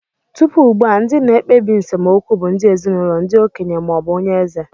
Tupu ugbu a, ndị na-ekpebi nsemokwu bụ ndị ezinụlọ, ndị okenye, ma ọ bụ onye eze.